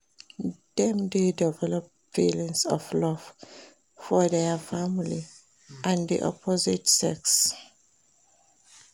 dem de develop feelings of love for their family and di opposite sex